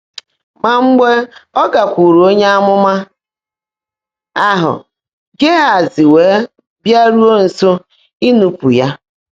Mà mgbe ọ́ gákwúúrụ́ ónyé ámụ́má áhụ́, “Gị́hèzí weèé bịáruó nsó íńú́pú́ yá.”